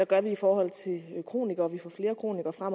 gør i forhold til kronikere og vi får flere kronikere